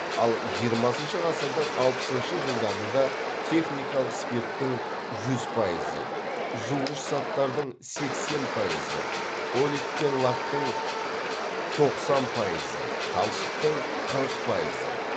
ал жиырмасыншы ғасырдың алпысыншы жылдарында техникалық спирттің жүз пайызы жуғыш заттардың сексен пайызы олиф пен лактың тоқсан пайызы талшықтың қырық пайызы